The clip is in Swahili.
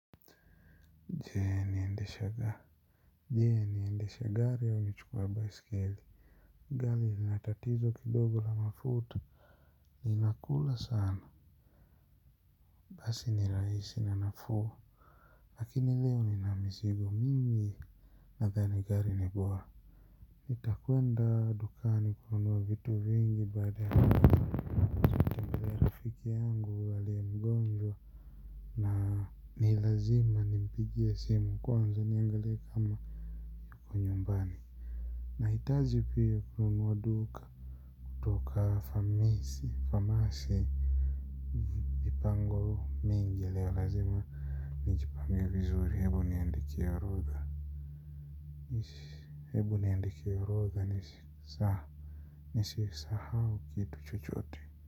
Je niendesha gari au nichukue baiskeli gari lina tatizo kidogo la mafuta linakula sana, basi ni rahisi na nafuu lakini leo nina mizigo mingi nadhani gari ni bora, nitakwenda dukani kununua vitu vingi baadae nitamtembelea rafiki yangu aliye mgonjwa na ni lazima nimpigie simu kwanza niangalee kama yupo nyumbani nahitaji pia kununua duka kutoka famisi famasi mingi lazima nijipange vizuri hebu niandike orodha, hebu niandike orodha nisisahau kitu chochote.